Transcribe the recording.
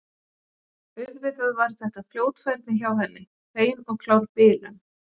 Auðvitað var þetta fljótfærni hjá henni, hrein og klár bilun.